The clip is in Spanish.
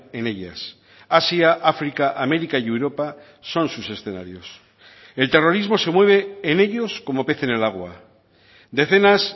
en ellas asia áfrica américa y europa son sus escenarios el terrorismo se mueve en ellos como pez en el agua decenas